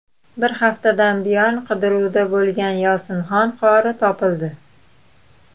Bir haftadan buyon qidiruvda bo‘lgan Yosinxon qori topildi.